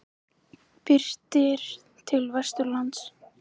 Birtir til vestanlands